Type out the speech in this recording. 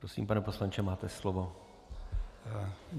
Prosím, pane poslanče, máte slovo.